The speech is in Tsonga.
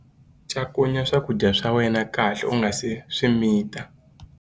Cakunya swakudya swa wena kahle u nga si swi mita.